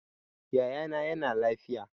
Yaya na yana lafiya